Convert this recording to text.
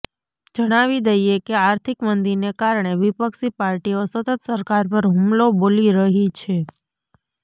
જણાવી દઈએ કે આર્થિક મંદીને કારણે વિપક્ષી પાર્ટીઓ સતત સરકાર પર હુમલો બોલી રહી છે